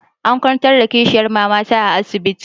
An kwantar da kishiyar mamana a asibiti.